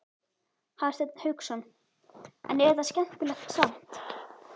Hafsteinn Hauksson: En er þetta skemmtilegt samt?